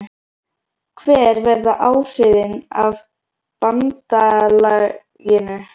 Hver verða áhrifin af BANDALAGINU?